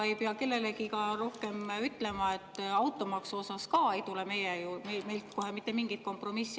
Ei pea kellelegi rohkem ütlema, et ka automaksu suhtes ei tule meilt kohe mitte mingit kompromissi.